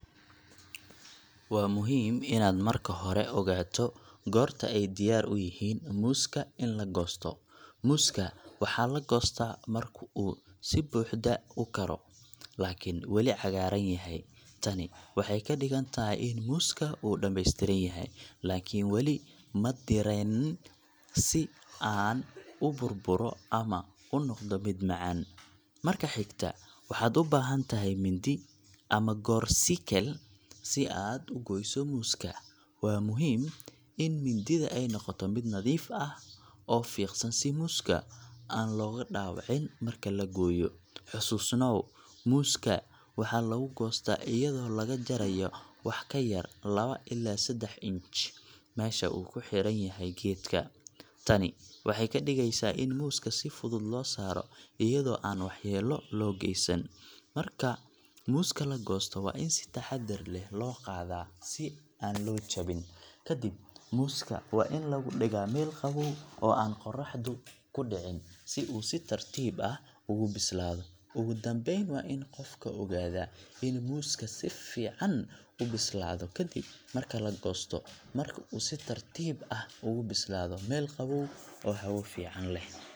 Waa muhiim inaad marka hore ogaato goorta ay diyaar u yihiin muuska in la goosto. Muuska waxaa la goostaa marka uu si buuxda u koro, laakiin weli cagaaran yahay. Tani waxay ka dhigan tahay in muuska uu dhammaystiran yahay, laakiin weli ma diirranayn si uu u burburo ama u noqdo mid macaan. Marka xigta, waxaad u baahan tahay mindi ama goor-sikeel si aad u gooyso muuska. Waxaa muhiim ah in mindida ay noqoto mid nadiif ah oo fiiqan si muuska aan looga dhaawicin marka la gooyo. Xusuusnow, muuska waxaa lagu goostaa iyadoo laga jarayo wax ka yar lawa ilaa seddax inch meesha uu ku xiran yahay geedka. Tani waxay ka dhigaysaa in muuska si fudud loo saaro iyadoo aan waxyeelo loo geysan. Marka muuska la goosto, waa in si taxaddar leh loo qaadaa si aan loo jabin. Kadib, muuska waa in lagu dhigaa meel qabow oo aan qorraxdu ku dhicin, si uu si tartiib ah ugu bislaado. Ugu dambeyn, waa in qofku ogaadaa in muuska si fiican u bislaado ka dib marka la goosto, marka uu si tartiib ah ugu bislaado meel qabow oo hawo fiican leh.